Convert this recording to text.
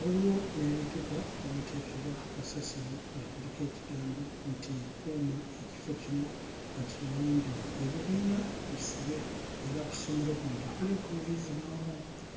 Waliwo n'ebipipa omuteekebwa kasasiro nga kuliko ekigambo nti "Kuuma ekifo kino nga kiyonjo". Ebibiina bisibe era ku ssomero kuno tekuliiko muyizi n'omu.